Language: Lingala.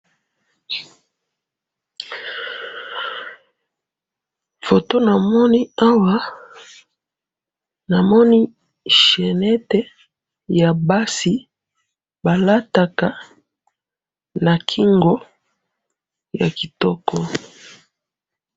photo namoni awa namoni chenette ya basi balataka na kingo ya kitoko.